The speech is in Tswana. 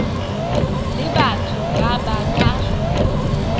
le batho ba ba ka